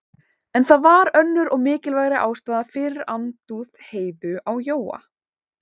En það var önnur og mikilvægari ástæða fyrir andúð Heiðu á Jóa.